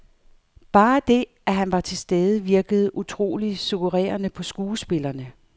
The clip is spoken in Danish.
Bare det at han var til stede virkede utroligt suggererende på skuespillerne.